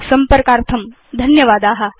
संपर्कार्थं धन्यवादा